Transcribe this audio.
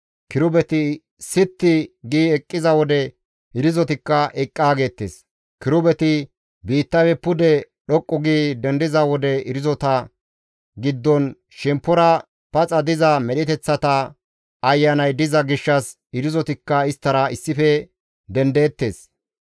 Kirubeti sitti gi eqqiza wode irzotikka eqqaa geettes; kirubeti biittafe pude dhoqqu gi dendiza wode irzota giddon shemppora paxa diza medheteththata ayanay diza gishshas irzotikka isttara issife dendeettes.